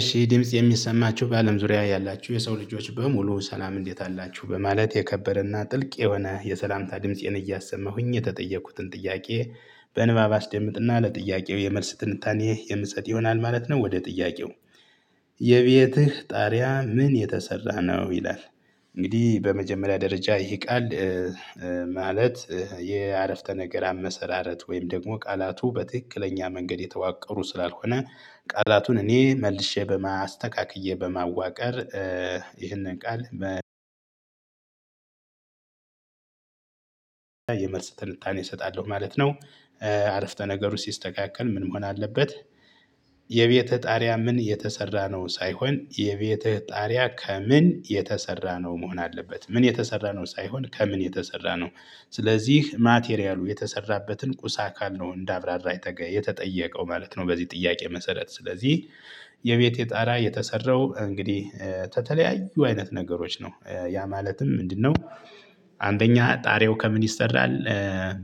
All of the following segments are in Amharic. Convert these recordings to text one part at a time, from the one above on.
እሺ ድምፄ የሚሰማችሁ በአለም ዙሪያ ያላችሁ የሰው ልጆች በሙሉ ሰላም እንዴት አላችሁ በማለት የከበረና ጥልቅ የሆነ የሰላምታ ድምፄን እያሰማሁኝ የተጠየኩትን ጥያቄ በንባብ አስደምጥና ለጥያቄው የመልስ ትንታኔ የምሰጥ ይሆናል ማለት ነው። ወደ ጥያቄው የቤትህ ጣሪያ ምን የተሰራ ነው ይላል? እንግዲህ በመጀመሪያ ደረጃ ይሄ ቃል ማለት የአረፍተ ነገር አመሰራረት ወይም ደግሞ ቃላቱ በትክክለኛ መንገድ የተዋቀሩ ስላልሆነ ቃላቱን እኔ መልሼ አስተካክዬ በማዋቀር ይህንን ቃል የመልስ ትንታኔ እሰጣለሁ ማለት ነው። አረፍተ ነገሩ ሲስተካከል ምን መሆን አለበት? የቤትህ ጣሪያ ምን የተሰራ ነው ሳይሆን የቤትህ ጣሪያ ከምን የተሰራ ነው መሆን አለበት ምን የተሰራ ነው ሳይሆን ከምን የተሰራ ነው። ስለዚህ ማቴሪያሉ የተሰራበትን ቁሳ አካል ነው እንደ አብራራ የተጠየቀው ማለት ነው። በዚህ ጥያቄ መሰረት ስለዚህ የቤቴ ጣራ የተሰራው እንግዲህ ከተለያዩ አይነት ነገሮች ነው ያ ማለትም ምንድነው? አንደኛ ጣሪያው ከምን ይሰራል።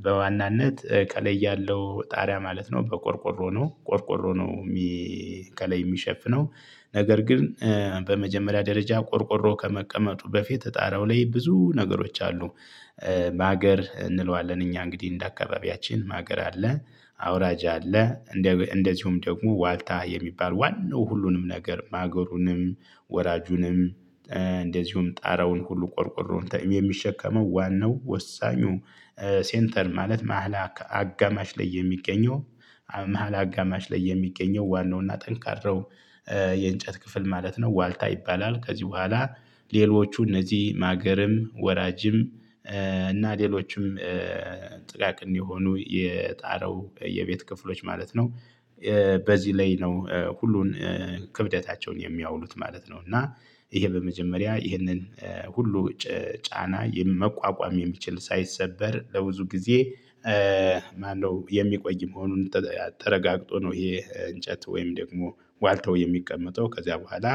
በዋናነት ከላይ ያለው ጣሪያ ማለት ነው በቆርቆሮ ነው ቆርቆሮ ነው። ከላይ የሚሸፍነው ነገር ግን በመጀመሪያ ደረጃ ቆርቆሮ ከመቀመጡ በፊት ጣራው ላይ ብዙ ነገሮች አሉ። ማገር እንለዋለን እኛ እንግዲህ እንደ አካባቢያችን ማገር አለ አውራጅ አለ። እንደዚሁም ደግሞ ዋልታ የሚባል ዋናው ሁሉንም ነገር ማገሩንም ወራጁንም እንደዚሁም ጣራውን ሁሉ ቆርቆሮን የሚሸከመው ዋናው ወሳኙ ሴንተር ማለት መሃል አጋማሽ ላይ የሚገኘው መሃል አጋማሽ ላይ የሚገኘው ዋናውና ጠንካራው የእንጨት ክፍል ማለት ነው ዋልታ ይባላል። ከዚህ በኋላ ሌሎቹ እነዚህ ማገርም ወራጅም እና ሌሎችም ጥቃቅን የሆኑ የጣራው የቤት ክፍሎች ማለት ነው። በዚህ ላይ ነው ሁሉን ክብደታቸውን የሚያውሉት ማለት ነው። እና ይሄ በመጀመሪያ ይህንን ሁሉ ጫና መቋቋም የሚችል ሳይሰበር ለብዙ ጊዜ ማነው የሚቆይ መሆኑን ተረጋግጦ ነው። ይሄ እንጨት ወይም ደግሞ ዋልታው የሚቀመጠው ከዚያ በኋላ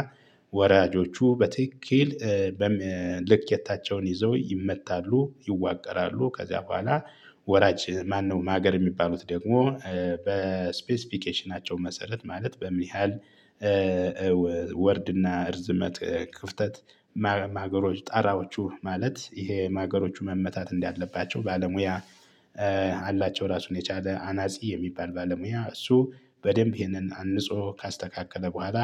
ወራጆቹ በትክክል በምን ልኬታቸውን ይዘው ይመታሉ ይዋቀራሉ። ከዚያ በኋላ ወራጅ ማነው ማገር የሚባሉት ደግሞ በስፔስፊኬሽናቸው መሰረት ማለት በምን ያህል ወርድና እርዝመት ክፍተት ማገሮች ጣራዎቹ ማለት ይሄ ማገሮቹ መመታት እንዳለባቸው ባለሙያ። አላቸው ራሱን የቻለ አናፂ የሚባል ባለሙያ እሱ በደንብ ይሄንን አንፆ ካስተካከለ በኋላ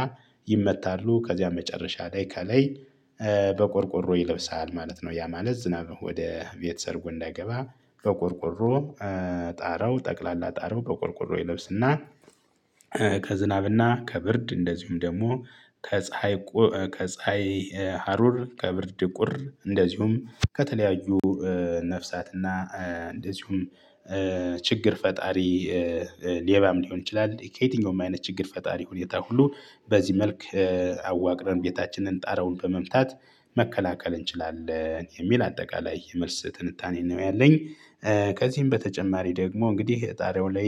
ይመታሉ ከዚያ መጨረሻ ላይ ከላይ በቆርቆሮ ይለብሳል ማለት ነው። ያ ማለት ዝናብ ወደ ቤት ሰርጎ እንዳይገባ በቆርቆሮ ጣራው ጠቅላላ ጣራው በቆርቆሮ ይለብስና ከዝናብና ከብርድ እንደዚሁም ደግሞ ከፀሀይ ከፀሀይ ሀሩር ከብርድ ቁር እንደዚሁም ከተለያዩ ነፍሳትና እንደዚሁም ችግር ፈጣሪ ሌባም ሊሆን ይችላል። ከየትኛውም አይነት ችግር ፈጣሪ ሁኔታ ሁሉ በዚህ መልክ አዋቅረን ቤታችንን ጣራውን በመምታት መከላከል እንችላለን የሚል አጠቃላይ የመልስ ትንታኔ ነው ያለኝ። ከዚህም በተጨማሪ ደግሞ እንግዲህ ጣሪያው ላይ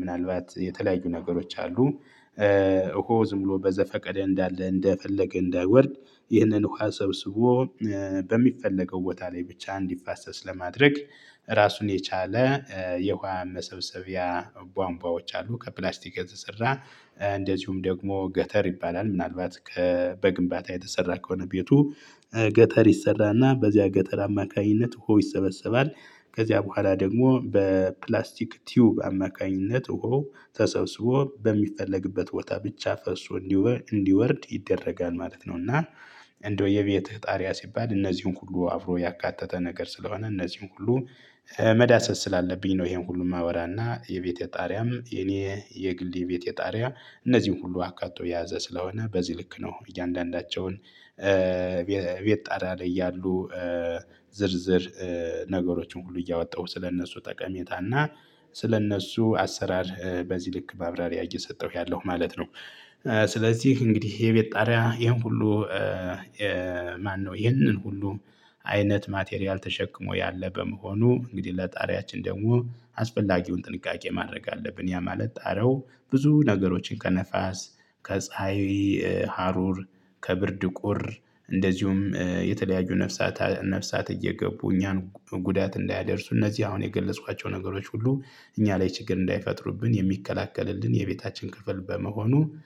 ምናልባት የተለያዩ ነገሮች አሉ። እሆ ዝም ብሎ በዘፈቀደ እንዳለ እንደፈለገ እንዳይወርድ ይህንን ውሃ ሰብስቦ በሚፈለገው ቦታ ላይ ብቻ እንዲፋሰስ ለማድረግ ራሱን የቻለ የውሃ መሰብሰቢያ ቧንቧዎች አሉ ከፕላስቲክ የተሰራ እንደዚሁም ደግሞ ገተር ይባላል ምናልባት ከ በግንባታ የተሰራ ከሆነ ቤቱ ገተር ይሰራና በዚያ ገተር አማካኝነት ውሃው ይሰበሰባል። ከዚያ በኋላ ደግሞ በፕላስቲክ ቲዩብ አማካኝነት ውሃው ተሰብስቦ በሚፈለግበት ቦታ ብቻ ፈሶ እንዲወርድ ይደረጋል ማለት ነው። እና እንደው የቤትህ ጣሪያ ሲባል እነዚህን ሁሉ አብሮ ያካተተ ነገር ስለሆነ እነዚህን ሁሉ መዳሰስ ስላለብኝ ነው። ይሄን ሁሉን ማወራና የቤቴ ጣሪያም የኔ የግሌ ቤት ጣሪያ እነዚህን ሁሉ አካቶ የያዘ ስለሆነ በዚህ ልክ ነው እያንዳንዳቸውን ጣሪያ ላይ ያሉ ዝርዝር ነገሮችን ሁሉ እያወጣሁ ስለእነሱ ጠቀሜታ እና ስለእነሱ አሰራር በዚህ ልክ ማብራሪያ እየሰጠሁ ያለው ማለት ነው። ስለዚህ እንግዲህ የቤት ጣሪያ ይሄን ሁሉ ማነው ይሄንን ሁሉ አይነት ማቴሪያል ተሸክሞ ያለ በመሆኑ እንግዲህ ለጣሪያችን ደግሞ አስፈላጊውን ጥንቃቄ ማድረግ አለብን። ያማለት ጣሪያው ብዙ ነገሮችን ከነፋስ ከፀሀይ ሀሩር ከብርድ ቁር እንደዚሁም የተለያዩ ነፍሳት ነፍሳት እየገቡ እኛን ጉዳት እንዳያደርሱ እነዚህ አሁን የገለፅኳቸው ነገሮች ሁሉ እኛ ላይ ችግር እንዳይፈጥሩብን የሚከላከልልን የቤታችን ክፍል በመሆኑ